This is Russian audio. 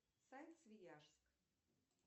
сайт свеяжск